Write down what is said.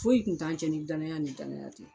Foyi kun t'an cɛ ni danaya ni danaya tɛ